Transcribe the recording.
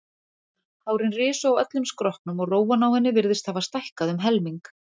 Hárin risu á öllum skrokknum og rófan á henni virtist hafa stækkað um helming.